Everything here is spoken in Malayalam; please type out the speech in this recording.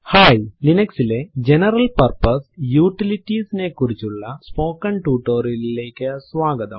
ഹായ് ലിനക്സിലെ ജനറൽ പർപ്പസ് യൂട്ടിലിറ്റീസ് നെ കുറിച്ചുള്ള സ്പോക്കെൻ ടുട്ടോറിയലിലേക്ക് സ്വാഗതം